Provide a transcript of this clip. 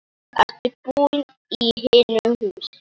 Ertu búinn í hinu húsinu?